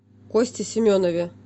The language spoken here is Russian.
косте семенове